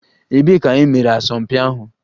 Ebee ka e mere asọmpi ahụ?